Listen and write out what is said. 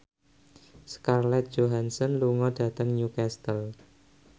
Scarlett Johansson lunga dhateng Newcastle